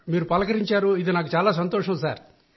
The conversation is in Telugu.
మీ మాట విన్న తర్వాత నా ఆనందం చాలా పెరిగింది సార్